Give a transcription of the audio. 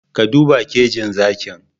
Ka duba kejin zakin